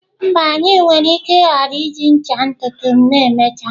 Mba, anyị nwere ike ghara iji ncha ntutu ma emechaa.